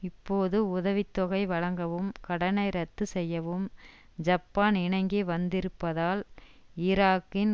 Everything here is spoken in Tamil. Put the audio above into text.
இப்போது உதவி தொகை வழங்கவும் கடனை ரத்து செய்யவும் ஜப்பான் இணங்கி வந்திருப்பதால் ஈராக்கின்